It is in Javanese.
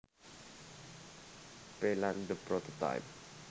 P lan The Prototype